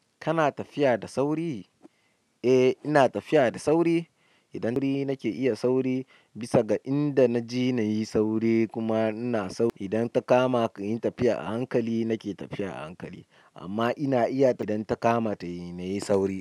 Kana tafiya da sauri? Eh ina tafiya da sauri. Idan dai nake iya sauri bisa ga inda na je na yi sauri kuma ina sauri. Idan ta kama inyi tafiya a hankali, nake tafiya a hankali. Amma ina iya idan ta kama tayi, na yi sauri.